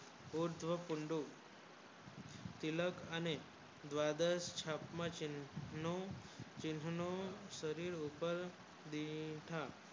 ઓ જો કુંડુ તિલક અને ગ્વાદર છાપ માં ચિન્હઉઁ ચિન્હઉઁ શરીર ઉપર બૈઠા